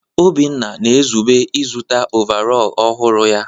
Obinna na-ezube ịzụta ọvarọọr ọhụrụ ya.